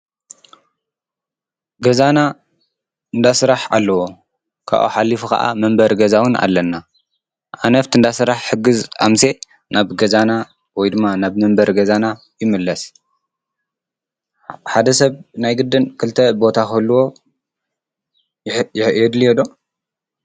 ገዛና እንዳስራሕ ኣለዎ፡፡ ካብኡ ሓሊፉ ኸዓ መንበሪ ገዛውን ኣለና፡፡ ኣነ ኣፍቲ እንዳስራሕ ሕግዝ ኣምሴ ናብ ገዛና ወይ ድማ ናብ መንበሪ ገዛና ይምለስ፡፡ ሓደ ሰብ ናይ ግድን ክልተ ቦታ ክህልዎ የድልዮ ዶ?